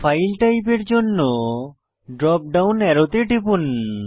file type এর জন্য drop down অ্যারোতে টিপুন